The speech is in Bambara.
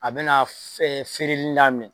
A bɛ na f feereli daminɛ